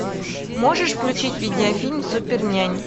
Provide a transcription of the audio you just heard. можешь включить видеофильм супер нянь